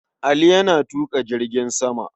Ali yana tuƙa jirgin sama.